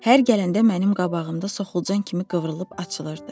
Hər gələndə mənim qabağımda soxulcan kimi qıvrılıb açılırdı.